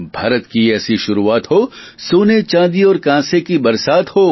ભારત કી ઐસી શુરૂઆત હો સોને ચાંદી ઔર કાંસે કી બરસાત હો